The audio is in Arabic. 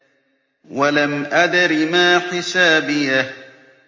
وَلَمْ أَدْرِ مَا حِسَابِيَهْ